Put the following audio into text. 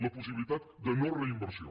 la possibilitat de no·reinversió